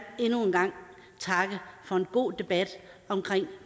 endnu en gang takke for en god debat omkring